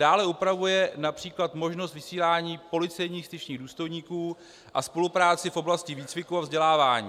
Dále upravuje například možnost vysílání policejních styčných důstojníků a spolupráci v oblasti výcviku a vzdělávání.